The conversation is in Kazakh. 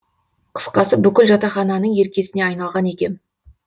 қысқасы бүкіл жатақхананың еркесіне айналған екем